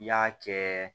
I y'a kɛ